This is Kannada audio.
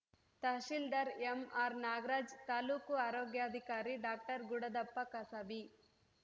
ತಹಸೀಲ್ದಾರ್‌ ಎಂಆರ್‌ ನಾಗರಾಜ್‌ ತಾಲೂಕು ಆರೋಗ್ಯಾಧಿಕಾರಿ ಡಾಕ್ಟರ್ ಗುಡದಪ್ಪ ಕಸಬಿ